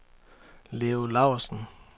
Leo Lausen